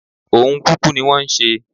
Ohun kúkú ní wọ́n ń ṣe